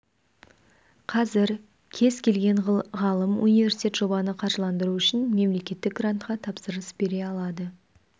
қазір кез келген ғалым университет жобаны қаржыландыру үшін мемлекеттік грантқа тапсырыс бере алады